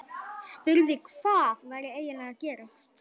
Spurði hvað væri eiginlega að gerast.